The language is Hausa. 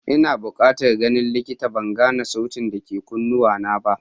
Ina bukatan ganin likita, ban gane sautin da ke cikin kunnuwana ba.